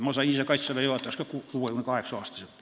Mina ise sain Kaitseväe juhatajaks ka 58-aastaselt.